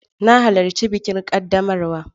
Na halarci bikin ƙaddamarwa.